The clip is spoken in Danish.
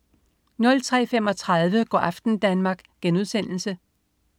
03.35 Go' aften Danmark*